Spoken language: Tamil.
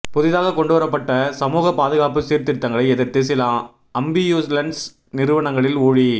புதிதாக கொண்டுவரப்பட்ட சமூக பாதுகாப்பு சீர்திருத்தங்களை எதிர்த்து சில அம்பியூலன்ஸ் நிறுவனங்களின் ஊழி